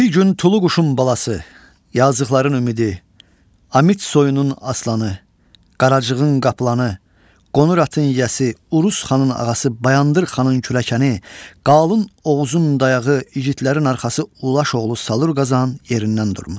Bir gün Tulu quşun balası, yazıqların ümidi, Amit soyunun aslanı, Qaracığın qaplanı, qonur atın yiyəsi, Urus Xanın ağası, Bayandır Xanın kürəkəni, Qalın Oğuzun dayağı igidlərin arxası Ulaş oğlu Salur Qazan yerindən durmuşdu.